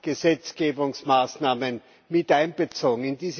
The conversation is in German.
Gesetzgebungsmaßnahmen mit einbezogen.